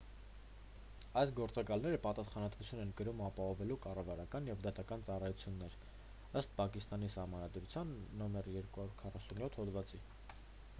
այս գործակալները պատասխանատվություն են կրում ապահովելու կառավարական և դատական ծառայություններ ըստ պակիստանի սահմանադրության n247 հոդվածի